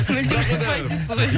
мүлдем ұқпайды дейсіз ғой